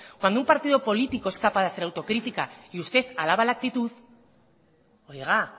cuando un partido político es capaz de hacer autocrítica y usted avala la actitud oiga